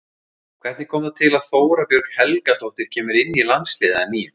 Hvernig kom það til að Þóra Björg Helgadóttir kemur inn í landsliðið að nýju?